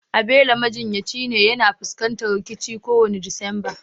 Abelo majinyacin yana fuskantar rikici kowane Disamba